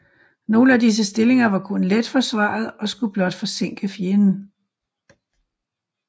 Nogle af disse stillinger var kun let forsvaret og skulle blot forsinke fjenden